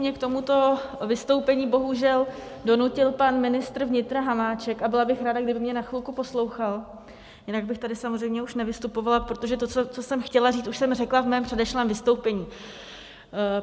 Mně k tomuto vystoupení bohužel donutil pan ministr vnitra Hamáček a byla bych ráda, kdyby mě na chvilku poslouchal, jinak bych tady samozřejmě už nevystupovala, protože to, co jsem chtěla říct, už jsem řekla ve svém předešlém vystoupení.